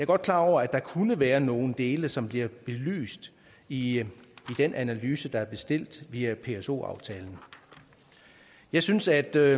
godt klar over at der kunne være nogle dele som bliver belyst i den analyse der er bestilt via pso aftalen jeg synes at der